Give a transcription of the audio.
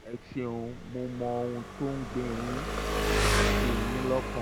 ẹ ṣeun mo mọ ohun um tó ń gbé yín gbé yín lọ́kàn